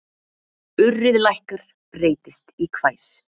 Urrið lækkar, breytist í hvæs.